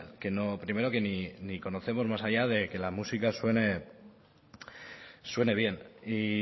que no primero que ni conocemos más allá de que la música suene bien y